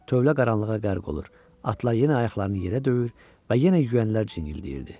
Tövlə qaranlığa qərq olur, atlar yenə ayaqlarını yerə döyür və yenə yüyənlər cinildəyirdi.